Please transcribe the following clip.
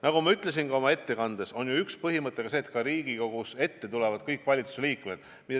Nagu ma ütlesin ka oma ettekandes, üks põhimõte on see, et Riigikogu ette tulevad kõik valitsuse liikmed.